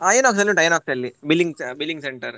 INOX ಅಲ್ಲಿ ಉಂಟು INOX ಅಲ್ಲಿ billing billing center .